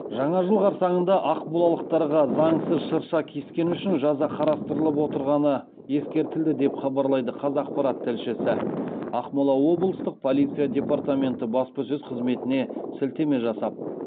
жаңа жыл қарсаңында ақмолалықтарға заңсыз шырша кескені үшін жаза қарастырылып отырғаны ескертілді деп хабарлайды қазақпарат тілшісі ақмола облыстық полиция департаменті баспасөз қызметіне сілтеме жасап